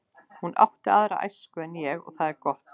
Hún átti aðra æsku en ég og það er gott.